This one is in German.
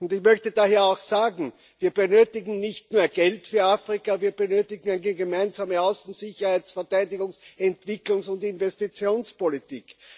Ich möchte daher auch sagen Wir benötigen nicht nur Geld für Afrika, wir benötigen eine gemeinsame Außen Sicherheits Verteidigungs Entwicklungs und Investitionspolitik.